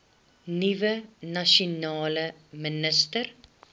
nuwe nasionale minister